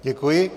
Děkuji.